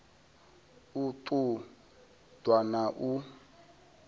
u ṱun ḓwa na u